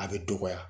A bɛ dɔgɔya